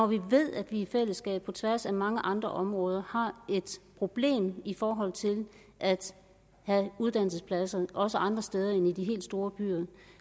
vi ved at vi i fællesskab på tværs af mange andre områder har et problem i forhold til at have uddannelsespladser også andre steder end i de helt store byer og